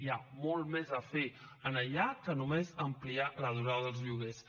hi ha molt més a fer en allà que només ampliar la durada dels lloguers